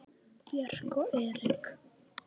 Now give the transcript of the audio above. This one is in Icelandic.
Björk og Eric.